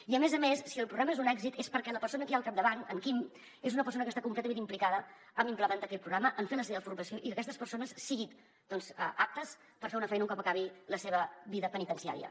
i a més a més si el programa és un èxit és perquè la persona que hi ha al capdavant en quim és una persona que està completament implicada a implementar aquest programa a fer la seva formació i que aquestes persones siguin doncs aptes per fer una feina un cop acabi la seva vida penitenciària